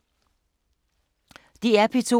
DR P2